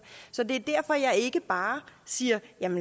så det er derfor at jeg ikke bare siger